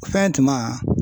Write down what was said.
Fɛn tuma